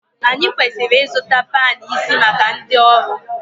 Anyị kwesịrị ịzụta panu isi maka ndị ọrụ